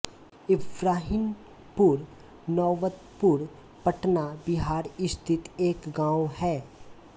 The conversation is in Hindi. इब्राहिमपुर नौबतपुर पटना बिहार स्थित एक गाँव है